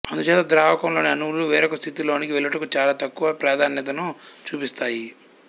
అందుచేత ద్రావకం లోని అణువులు వేరొక స్థితి లోనికి వెళ్ళుటకు చాలా తక్కువ ప్రాధాన్యతను చూపిస్తాయి